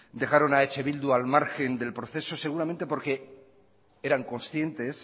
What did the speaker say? dejaron a eh bildu al margen del proceso seguramente porque eran conscientes